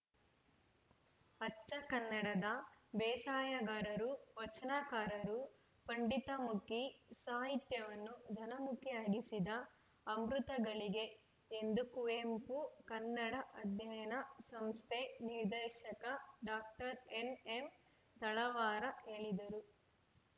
ಅಚ್ಚ ಕನ್ನಡದ ಬೇಸಾಯಗಾರರು ವಚನಕಾರರು ಪಂಡಿತಮುಖಿ ಸಾಹಿತ್ಯವನ್ನು ಜನಮುಖಿಯಾಗಿಸಿದ ಅಮೃತಘಳಿಗೆ ಎಂದು ಕುವೆಂಪು ಕನ್ನಡ ಅಧ್ಯಯನ ಸಂಸ್ಥೆ ನಿರ್ದೇಶಕ ಡಾಕ್ಟರ್ ಎನ್‌ಎಂತಳವಾರ ಹೇಳಿದರು